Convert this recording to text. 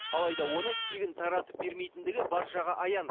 алайда оны тегін таратып бермейтіндігі баршаға аян